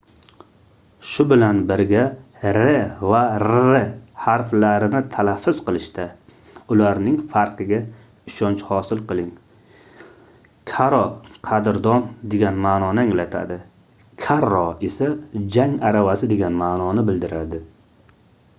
shu bilan birga r va rr harflarini talaffuz qilishda ularning farqiga ishonch hosil qiling caro qadrdon degan maʼnoni anglatadi carro esa jang aravasi degan maʼnoni bildiradi